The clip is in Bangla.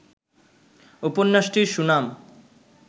উপন্যাসটির সুনাম